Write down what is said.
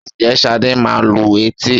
Ǹjẹ́ Ṣadé máa lu etí?